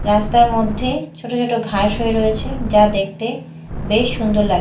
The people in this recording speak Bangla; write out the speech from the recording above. রাস্তার মধ্যে ছোট ছোট ঘাস হয়ে রয়েছে যা দেখতে বেশ সুন্দর লাগ--